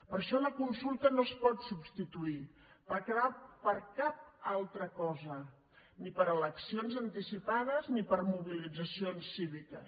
per això la consulta no es pot substituir per cap altra cosa ni per eleccions anticipades ni per mobilitzacions cíviques